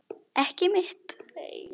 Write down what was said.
Ekki mitt.